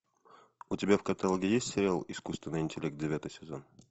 у тебя в каталоге есть сериал искусственный интеллект девятый сезон